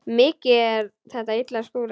Mikið er þetta illa skúrað.